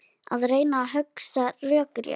Að reyna að hugsa rökrétt